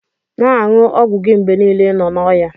Na anyu ogwụ gi mgbe nile inọ na ọya.